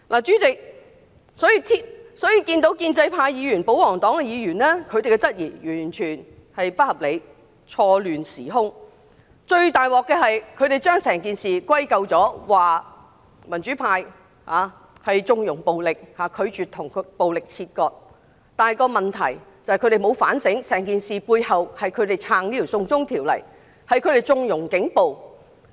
主席，建制派及保皇黨議員的質疑完全不合理，是混淆時空，而最大的問題是，他們把整件事歸咎於民主派縱容暴力，拒絕跟暴力切割，但他們沒有反省整件事背後，是他們支持這項"送中條例"及縱容警暴所致。